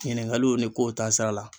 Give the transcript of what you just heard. Ɲiningaliw ni kow taa sira la